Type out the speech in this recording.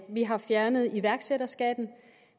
vi har fjernet iværksætterskatten